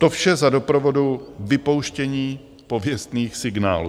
To vše za doprovodu vypouštění pověstných signálů.